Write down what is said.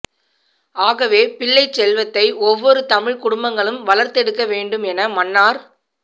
ஆகவே பிள்ளைச் செல்வத்தை ஒவ்வொரு தமிழ் குடும்பங்களும் வளர்த்தெடுக்க வேண்டும் என மன்னார்